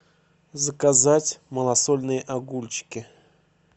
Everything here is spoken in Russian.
заказать малосольные огурчики